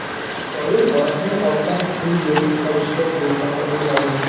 Shoir Volandning ortdan quvib yetib olishga besamar urinadi.